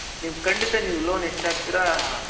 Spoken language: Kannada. ನೀವ್ ಖಂಡಿತ ನೀವ್ loan ಎಷ್ಟ್ ಹಾಕ್ತಿರ